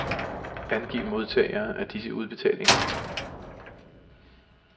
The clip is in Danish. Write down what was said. Angiv modtagere af disse udbetalinger.